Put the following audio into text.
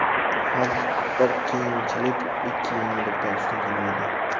Har bir qiyinchilik ikki yengillikdan ustun kelmaydi”.